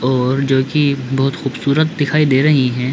और जो की बहुत खूबसूरत दिखाई दे रही है।